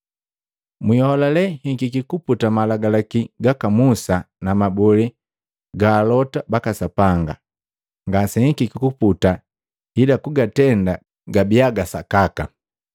“Mwiholale hikiki kuputa malagalaki gaka Musa na mabolee gaka alota baka Sapanga. Ngasenhikiki kuputa ila kugatenda gabiya ga sakaka.